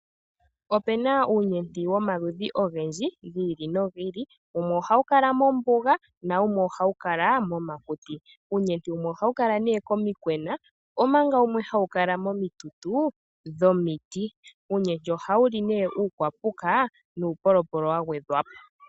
Opena uunyeti yomaludhi ogendji ,gi ili nogi ili. Wumwe ohawu kala mombuga na wumwe oha wu kala momakuti . Uunyeti wumwe ohawu kala nee komikwena ompanga wumwe hawu kala momitutu dhomiti. Uunyeti ohawu li nee uukwapuka nuupolopolo wa gwedhwa po .